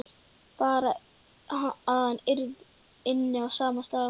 Bara að hann ynni á sama stað og mamma.